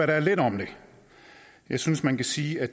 der er lidt om det jeg synes man kan sige at